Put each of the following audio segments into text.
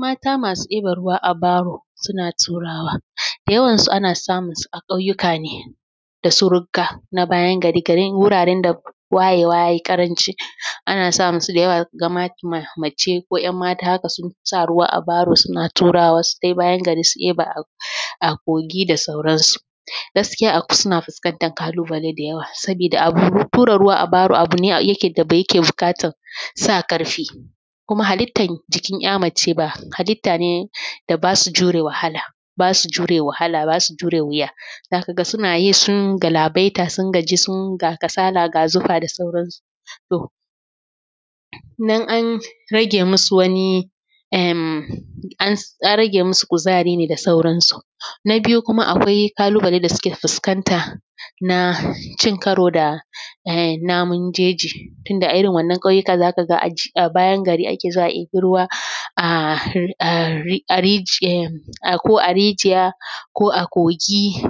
Mata masu ɗiban ruwa a baro suna turawa. Da yawan su ana samun su a ƙauyuka ne da su rugga na bayan gari wuraren da wayewa ya yi ƙaranci ana samun su da yawa ga ma mace ko ‘yan mata haka sun sa ruwa a baro suna turawa su tai bayan gari su ɗiba a kogi da sauran su. Gaskiya suna fuskantar ƙalubale da yawa saboda abu tura ruwa a baro abu ne yake da yake buƙatar sa ƙarfi kuma halittar jiki ‘ya mace ba halitta ne da basu jure wahala basu jure wahala basu jure wuya, za kaga suna yi sun galabaita sun gaji suna kasala ga zufa da sauran su. To, nan an rage masu wani em an rage masu kuzari ne da sauran su. Na biyu kuma akwai ƙalubale da suke fuskanta na cin karo da eh namun jeji tunda a irin wannan ƙauyuka za ka ga a bayan ake zuwa a ɗebi ruwa a riji ko a rijiya ko a kogi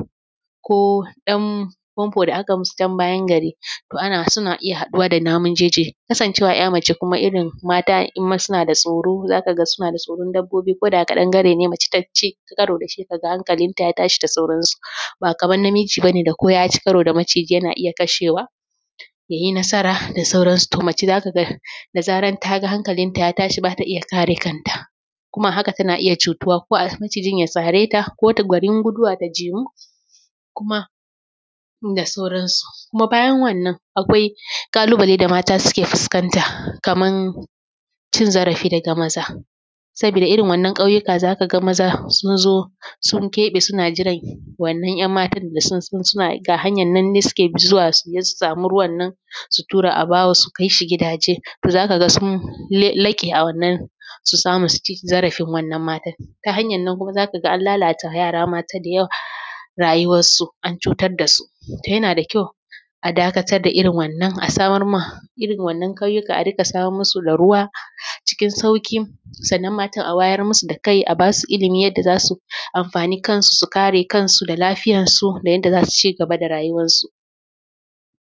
ko ɗan famfo da aka yi masu can bayan gari toh suna iya haɗuwa da namun jeji. Kasancewa kuma ‘ya mace irin mata kuma suna da tsoro zaka suna da tsoro kuma ko da ƙadangare ne mace ta ci karo da shi ka ga hankalin ta ya tashi da sauran su, ba kamar namiji bane da ko ya ci karo da maciji yana iya kashewa ya yi nasara da sauran su. To mace za ka ga da zaran ta ga hankalin ta ya tashi bata iya kare kanta kuma a haka tana iya cutuwa ko a macijin ya sare ta garin guduwata jimu kuma da sauran su. Kuma bayan wannan akwai ƙalubale da marta suke fuskanta kaman cin zarafi daga maza. Sabida irin wannan ƙauyuka zaka ga maza sun zo sun keɓe suna jiran wannan’yan matan da sun san suna ga hanyan na suke zuwa su je su samu ruwannan su tura a baro su kaisu gidaje, toh zaka sun laƙe a wanna su samu su ci zarafin wannan matan. Ta hanyar nan kuma z aka ga an lalata yara mata da yawa rayuwar su an cutar da su, toh yana da kyau a dakatar da irin wannan a samar ma irin wannan ƙauyuka a riƙa samar masu da ruwa ckin sauƙi, sannan matan a wayar masu da kai a basu ilimi yadda za su amfani kansu su kare kansu da lafiyan su da yanda za su cigaba da rayuwar su.